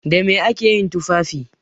Da me ake yin tufafi?